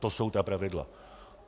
To jsou ta pravidla.